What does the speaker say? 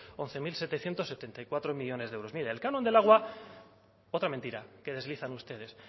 once mil setecientos setenta y cuatro millónes de euros mire el canon del agua otra mentira que deslizan ustedes